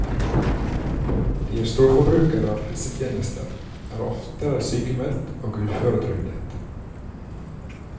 De er storforbrukere av helsetjenester, er oftere sykmeldt og uføretrygdet.